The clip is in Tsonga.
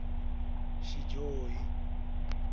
xidyohi